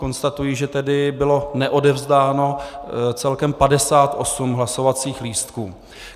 Konstatuji, že tedy bylo neodevzdáno celkem 58 hlasovacích lístků.